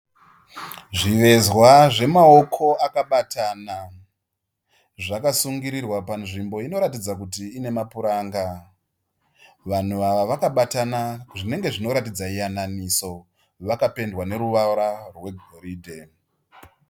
Zvivezwa zvemaoko akabatana. Zvakasungirirwa panzvimbo inoratidza kuti ine mapuranga. Vanhu ava vakabatana zvinenge zvinoratidza yananiso. Vakapendwa neruvara rwegoridhe.